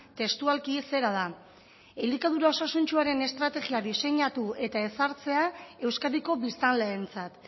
testualki zera da elikadura osasuntsuaren estrategia diseinatu eta ezartzea euskadiko biztanleentzat